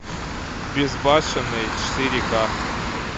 безбашенный четыре ка